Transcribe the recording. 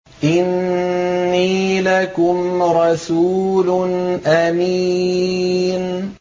إِنِّي لَكُمْ رَسُولٌ أَمِينٌ